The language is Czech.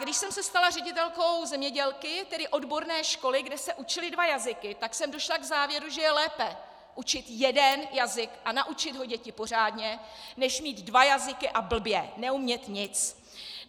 Když jsem se stala ředitelkou "zemědělky", tedy odborné školy, kde se učily dva jazyky, tak jsem došla k závěru, že je lépe učit jeden jazyk a naučit ho děti pořádně než mít dva jazyky a blbě, neumět nic.